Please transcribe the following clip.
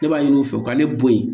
Ne b'a ɲini u fɛ u ka ne bo yen